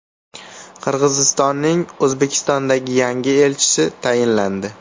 Qirg‘izistonning O‘zbekistondagi yangi elchisi tayinlandi.